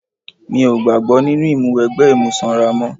Mi ò gbàgbọ́ nínú ìmúwẹgbẹ́ imú sanra mọ́.